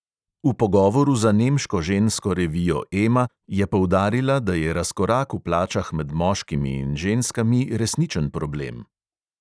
V pogovoru za nemško žensko revijo ema je poudarila, da je razkorak v plačah med moškimi in ženskami "resničen problem".